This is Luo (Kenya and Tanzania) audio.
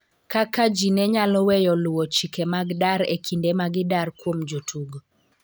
kaka ji ne nyalo weyo luwo chike mag dar e kinde ma gidar kuom jotugo